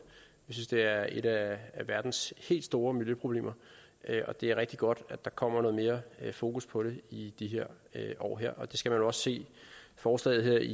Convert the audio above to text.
vi synes det er et af verdens helt store miljøproblemer og det er rigtig godt at der kommer noget mere fokus på det i de år her og det skal man også se forslaget